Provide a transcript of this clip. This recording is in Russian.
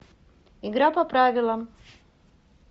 игра по правилам